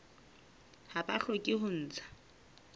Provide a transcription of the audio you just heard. ha ba hloke ho ntsha